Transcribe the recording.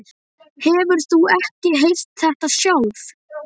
Hefur þú ekki heyrt þetta sjálf?